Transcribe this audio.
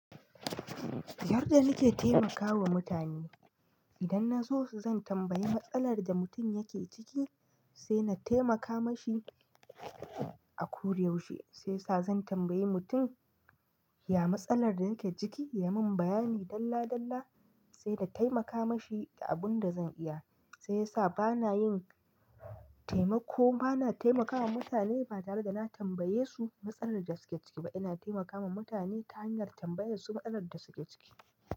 Yar da nake taimakawa mutane, idan na zo zan tambayi matsalar da mutum yake ciki, sai na taimaka mashi a koda yaushe. Sai sa zan tambayi mutum ya matsalar da yake ciki, ya mun bayani dalla dalla sai na taimaka mashi da abun da zan iya. Sai ya sa bana yin taimako, bana taimakawa mutane ba tare da na tambaye su matsalar da suke ciki ba. Ina taimakawa mutane ta hanyar tambaye su matsalar da suke ciki.